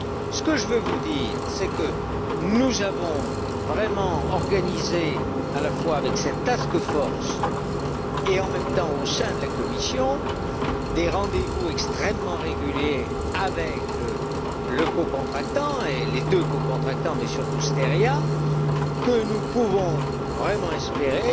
Ce que je veux vous dire, c'est que nous avons vraiment organisé, à la fois avec cette Task force et au sein de la Commission, des rendez vous extrêmement réguliers avec le cocontractant et les deux cocontractants, mais surtout Steria, et que nous pouvons vraiment espérer,